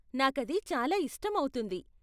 నాకది చాలా ఇష్టమౌతుంది.